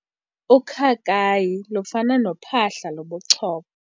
Ukhakayi lufana nophahla lobuchopho.